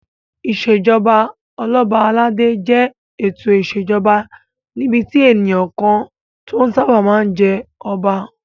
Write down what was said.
Ìṣèjoba Ọlọ́ba aládé jẹ́ ètò ìṣèjoba níbi tí ènìyàn kan tó sáábà máa ń jẹ́ Ọba